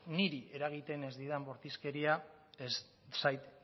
niri eragiten ez didan bortizkeria ez zait